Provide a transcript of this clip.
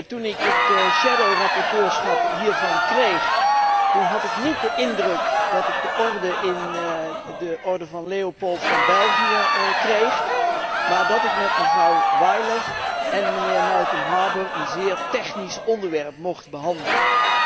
Toen ik het schaduwrapporteurschap hiervan kreeg, had ik niet de indruk dat ik de oorkonde in de Orde van Leopold van België kreeg, maar dat ik met mevrouw Weiler en meneer Malcolm Harbour een zeer technisch onderwerp mocht behandelen.